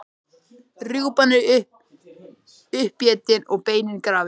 Rjúpan er uppétin og beinin grafin.